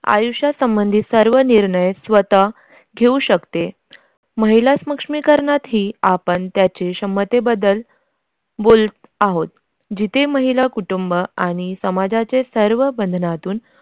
आयुष्या संबंधित सर्व निर्णय स्वतः घेऊ शकते. महिला सक्षमीकरणात ही आपण त्यांच्या क्षमतेबद्दल बोलत आहोत. जिथे महिला कुटुंब आणि समाजाचे सर्व बंधनातून.